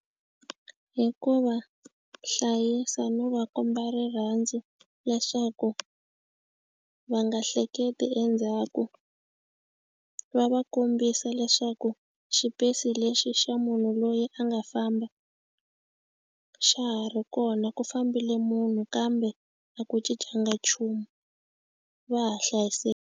Hi ku va hlayisa no va komba rirhandzu leswaku va nga hleketi endzhaku va va kombisa leswaku xa ku xipesi lexi xa munhu loyi a nga famba xa ha ri kona ku fambile munhu kambe a ku cincanga nchumu va ha .